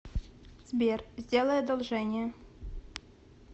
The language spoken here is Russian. сбер сделай одолжение